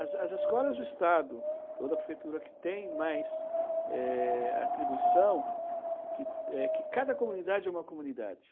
As as escolas do estado ou da prefeitura que tem mais eh, atribuição, que que cada comunidade é uma comunidade.